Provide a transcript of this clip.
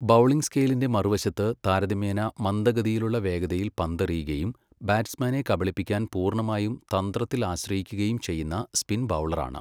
Bowling സ്കെയിലിന്റെ മറുവശത്ത് താരതമ്യേന മന്ദഗതിയിലുള്ള വേഗതയിൽ പന്തെറിയുകയും ബാറ്റ്സ്മാനെ കബളിപ്പിക്കാൻ പൂർണ്ണമായും തന്ത്രത്തിൽ ആശ്രയിക്കുകയും ചെയ്യുന്ന സ്പിൻ ബൗളറാണ്.